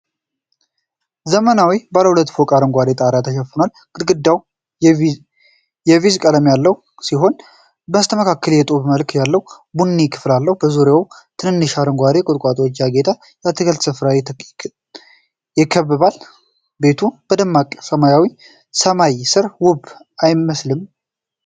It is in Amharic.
ዘመናዊው ባለ ሁለት ፎቅ ቤት በአረንጓዴ ጣራ ተሸፍኗል። ግድግዳዎቹ የቢዥ ቀለም ያላቸው ሲሆኑ በስተመሃል የጡብ መልክ ያለው ቡኒ ክፍል አለው። ዙሪያው በትንሽ አረንጓዴ ቁጥቋጦዎች ያጌጠ የአትክልት ስፍራ ይከብበዋል። ቤቱ በደማቅ ሰማያዊ ሰማይ ስር ውብ አይመስልም?